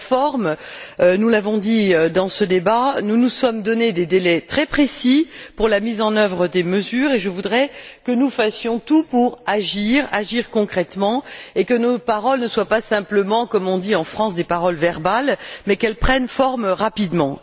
Sur la forme nous l'avons dit dans ce débat nous nous sommes donné des délais très précis pour la mise en œuvre des mesures et je voudrais que nous fassions tout pour agir concrètement et pour que nos paroles ne soient pas simplement, comme on dit en France, des paroles verbales mais qu'elles prennent forme rapidement.